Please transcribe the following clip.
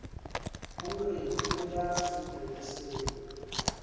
ho re ho ya sepoleseng